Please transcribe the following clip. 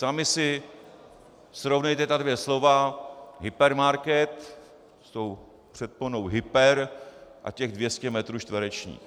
Sami si srovnejte ta dvě slova - hypermarket s tou předponou hyper- a těch 200 metrů čtverečních.